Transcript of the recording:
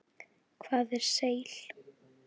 Hvað er seil?